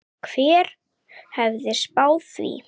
Hver hefði spáð því?